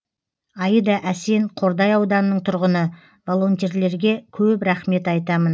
аида әсен қордай ауданының тұрғыны волонтерлерге көп рахмет айтамын